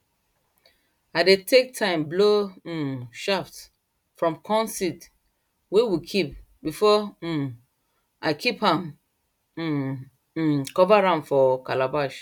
i dey take time blow um chaff from corn seed wey we kip before um i kip am um um cover am for calabash